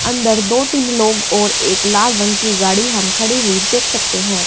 अंदर दो तीन लोग और एक लाल रंग की गाड़ी हम खड़ी हुई देख सकते हैं।